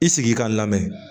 I sigi ka lamɛn